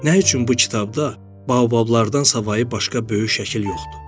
Nə üçün bu kitabda baobablardan savayı başqa böyük şəkil yoxdur?